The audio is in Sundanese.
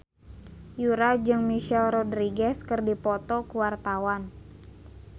Yura jeung Michelle Rodriguez keur dipoto ku wartawan